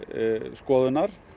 skoðunar